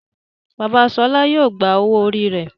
Bàbá Shola yíò gbà owo orí rẹ.